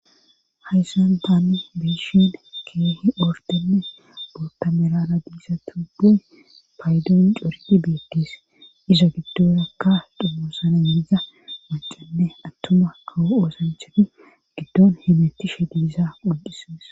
Hayssantaani biishin keehi ordenne bootamerala diisa tuge paaydoon corie beekes iza giddorakka dhumoosana yiza macanne attuma kawo oosanchani giddon himettishe diisa qonqisees